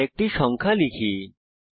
আরেকটি সংখ্যা লেখা যাক